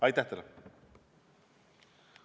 Aitäh teile!